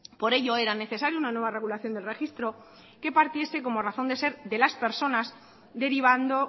por ello era necesario una nueva regulación del registro que partiese como razón de ser de las personas derivando